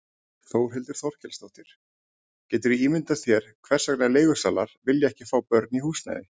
Þórhildur Þorkelsdóttir: Geturðu ímyndað þér hvers vegna leigusalar vilja ekki fá börn í húsnæði?